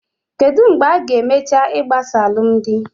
Kedụ mgbe a-ga emecha igbasa alụmdi?